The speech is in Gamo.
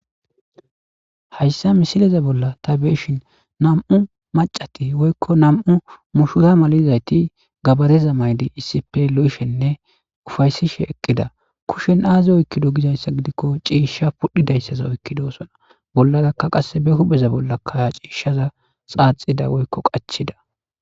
Hayssa misileza bolla ta beeshin nam'u macati woykko nam'u mushura malizayti gabareza maydi issipe lo'ishenne ufaysishe eqqida kushen aazi oykkido gizayssa gidikko ciishsha pudhidayssaza oykkidosona bolladakka qasse be hupeza bolla kaya ciishshaza xaaxida woykko qachida.